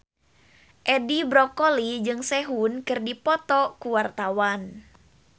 Edi Brokoli jeung Sehun keur dipoto ku wartawan